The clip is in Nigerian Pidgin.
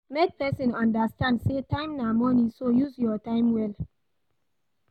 Make persin understand say time na money so use your time well